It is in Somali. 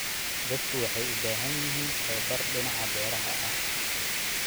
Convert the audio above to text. Dadku waxay u baahan yihiin tababar dhinaca beeraha ah.